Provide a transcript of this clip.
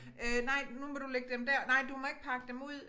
Øh nej nu må du lægge dem dér nej du må ikke pakke dem ud